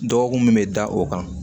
Dɔgɔkun min bɛ da o kan